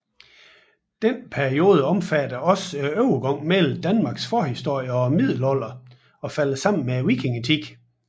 Denne periode omfatter også overgangen mellem Danmarks forhistorie og middelalder og falder sammen med vikingetiden